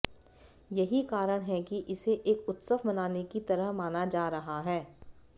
यही कारण है कि इसे एक उत्सव मनाने की तरह माना जा रहा है